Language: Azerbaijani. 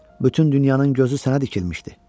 Bütün dünyanın gözü sənə dikilmişdi.